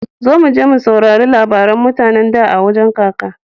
Zo muje mu saurari labaran mutane da a wajan kaka.